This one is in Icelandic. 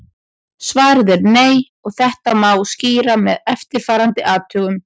Svarið er nei og þetta má skýra með eftirfarandi athugun.